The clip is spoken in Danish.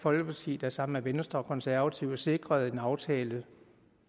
folkeparti der sammen med venstre og de konservative sikrede en aftale